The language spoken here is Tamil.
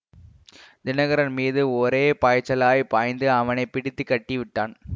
தினகரன் மீது ஒரே பாய்ச்சலாய்ப் பாய்ந்து அவனை பிடித்து கட்டி விட்டான்